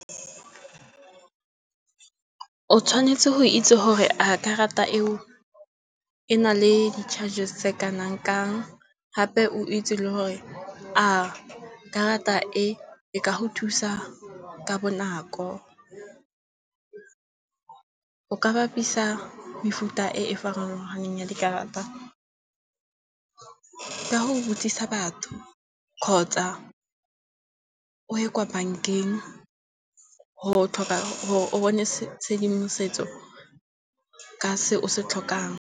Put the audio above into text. O tshwanetse go itse gore a karata eo e na le di-charges tse kanang kang, gape o itse le gore a karata e e ka go thusa ka bonako. O ka bapisa mefuta e e farologaneng ya dikarata ka go khutsisa batho kgotsa o ye kwa bankeng go tlhoka gore o bone tshedimosetso ka se o se tlhokang.